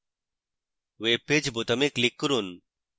web page বোতামে click করুন